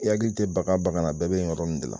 I hakili tɛ bagan o bagan na a bɛɛ bɛ in yɔrɔ nin de la!